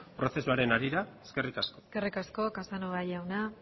prozesuaren harira eskerrik asko eskerrik asko casanova jauna